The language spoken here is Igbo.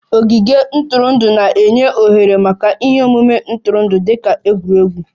Ogige ntụrụndụ na-enye ohere maka ihe omume ntụrụndụ dị ka egwuregwu